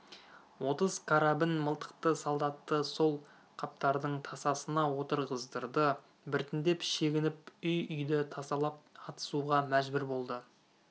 отыз карабін мылтықты солдатты сол қаптардың тасасына отырғыздырды біртіндеп шегініп үй-үйді тасалап атысуға мәжбүр болды